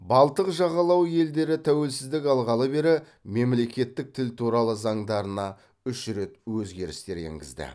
балтық жағалауы елдері тәуелсіздік алғалы бері мемлекеттік тіл туралы заңдарына үш рет өзгерістер енгізді